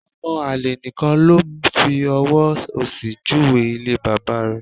Ọmọ àlè nìkan ló fi ọwọ́ òsì júwe ilé bàbá rẹ̀